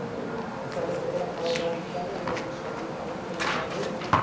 પાલકપકોડા ખાવાં જવાનો વિચાર હે એટલે શાંતિથી પાલકપકોડા ખાવાં જોય.